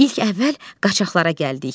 İlk əvvəl qaçaqlara gəldik.